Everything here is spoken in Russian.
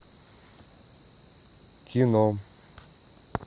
кино